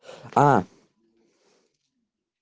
а